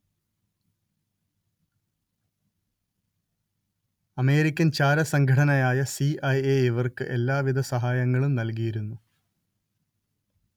American ചാരസംഘടനയായ സി_letter ഐ_letter എ_letter ഇവർക്ക് എല്ലാവിധ സഹായങ്ങളും നൽകിയിരുന്നു